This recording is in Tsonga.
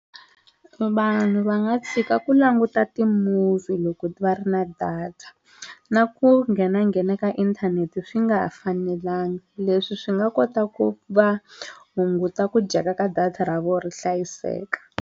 Vanhu va nga tshika ku languta ti-movie loko va ri na data na ku nghenanghena ka inthanete swi nga fanelanga leswi swi nga kota ku va hunguta ku dyeka ka data ra vona ri hlayiseka.